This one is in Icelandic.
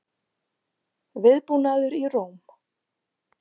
Viðbúnaður í Róm